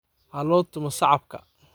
Halotumo sacapka .